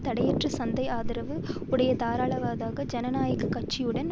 தடையற்ற சந்தை ஆதரவு உடைய தாராளவாத ஜனநாயக கட்சியுடன்